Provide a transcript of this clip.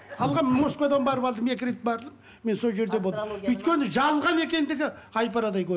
алғанмын москвадан барып алдым екі рет бардым мен сол жерде болдым өйткені жалған екендігі ай парадай